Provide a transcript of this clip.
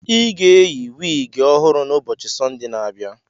I ga-eyi wiigi ọhụrụ n'ubochi Sọnde na-abịa.